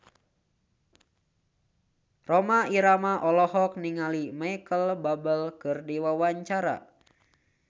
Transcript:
Rhoma Irama olohok ningali Micheal Bubble keur diwawancara